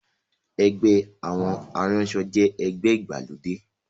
Ẹgbẹ́ àwọn aránṣọ jẹ́ ẹgbẹ́ ìgbàlódé